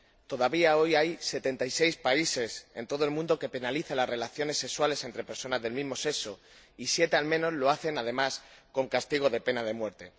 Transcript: Todavía hoy hay 76 países en todo el mundo que penalizan las relaciones sexuales entre personas del mismo sexo y siete al menos lo hacen además con castigo de pena de muerte.